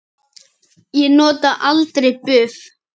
Ég nota aldrei buff.